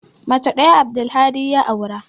Mace ɗaya Abdulhadi ya aure.